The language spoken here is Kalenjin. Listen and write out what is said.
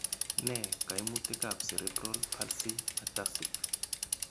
Nee kaimutikab Cerebral palsy ataxic?